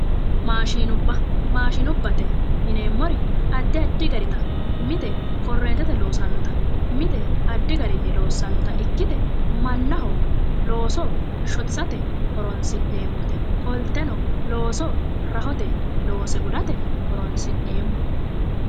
Maashinubba, maashiinubbate yineemmori addi addi garita ikkita. mite korreentete loossannota mite addi garinni loossannota ikkite mannho looso shotisate horonsi'neemmote qolteno looso rahote looso loose gudate horonsi'neemmo.